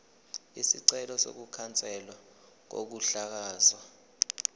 isicelo sokukhanselwa kokuhlakazwa